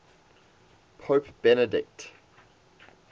pope benedict